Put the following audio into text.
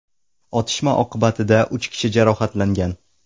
Otishma oqibatida uch kishi jarohatlangan.